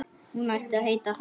Hún ætti að heita Haf.